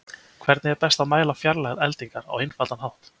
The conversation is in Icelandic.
Hvernig er best að mæla fjarlægð eldingar á einfaldan hátt?